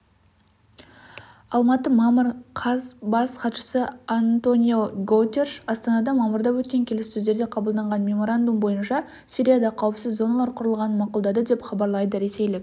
алматы мамыр қаз бас хатшысы антониогутериш астанада мамырда өткен келіссөздерде қабылданған меморандум бойынша сирияда қауіпсіз зоналар құрылғанын мақұлдады деп хабарлады ресейлік